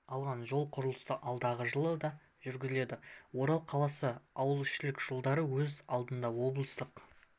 алған жол құрылысы алдағы жылы да жүргізіледі орал қаласы мен ауылішілік жолдар өз алдына облыстық